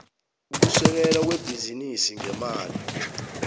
ukusekelwa kwebhizinisi ngemali